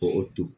K'o to